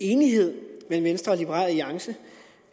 enighed mellem venstre og liberal alliance